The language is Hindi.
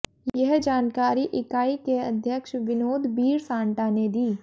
यह जानकारी इकाई के अध्यक्ष विनोद बीरसांटा ने दी